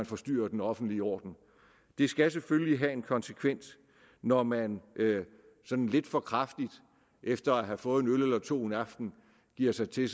forstyrrer den offentlige orden det skal selvfølgelig have en konsekvens når man sådan lidt for kraftigt efter at have fået en øl eller to en aften giver sig til